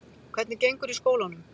Hvernig gengur í skólanum?